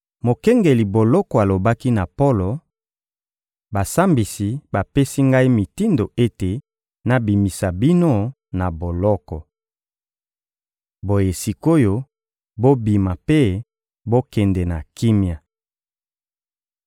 Mokengeli boloko alobaki na Polo: — Basambisi bapesi ngai mitindo ete nabimisa bino na boloko. Boye sik’oyo, bobima mpe bokende na kimia.